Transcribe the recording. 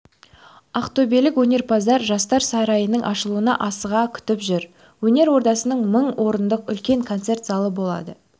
ақтөбелік өнерпаздар жастар сарайының ашылуын асыға күтіп жүр өнер ордасында мың орындық үлкен концерт залы болады